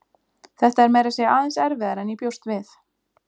Þetta er meira segja aðeins erfiðara en ég bjóst við.